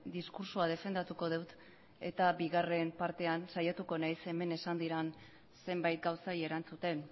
diskurtsoa defendatuko dut eta bigarren partean saiatuko nahiz hemen esan diren zenbait gauzei erantzuten